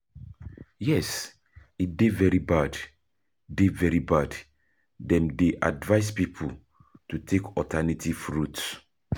Yes, e dey very bad, dem dey advise people to take alternative routes.